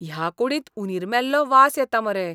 ह्या कुडींत उंदीर मेल्लो वास येता मरे.